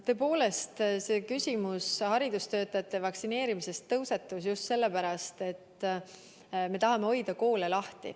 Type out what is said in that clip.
Tõepoolest, küsimus haridustöötajate vaktsineerimisest tõusetus just sellepärast, et me tahame hoida koole lahti.